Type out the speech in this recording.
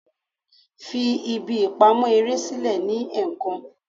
Fi ibi ipamọ ere silẹ ni ẹẹkan!